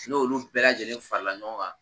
N' olu bɛɛ lajɛlen farala ɲɔgɔn kan